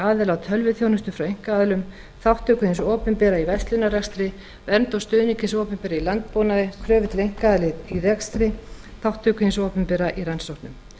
aðila á tölvuþjónustu frá einkaaðilum þátttöku hins opinbera í verslunarrekstri vernd og stuðning hins opinbera í landbúnaði kröfur til einkaaðila í rekstri þátttöku hins opinbera í rannsóknum